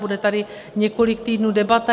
Bude tady několik týdnů debata.